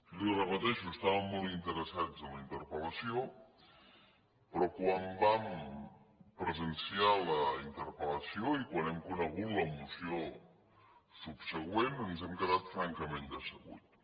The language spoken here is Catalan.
li ho repeteixo estàvem molt interessats en la interpellació però quan vam presenciar la interpel·lació i quan hem conegut la moció subsegüent ens hem quedat francament decebuts